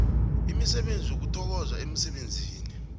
imisebenzi yokuthokozwa emsebenzini